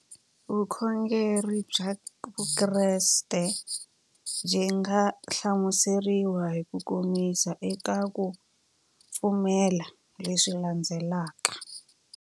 Vukhongeri bya Vukreste byi nga hlamuseriwa hi kukomisa eka ku pfumela leswi landzelaka.